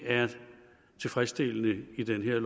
tilfredsstillende i det her